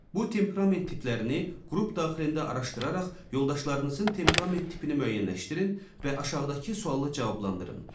Bu temperament tiplərini qrup daxilində araşdıraraq yoldaşlarınızın temperament tipini müəyyənləşdirin və aşağıdakı sualı cavablandırın: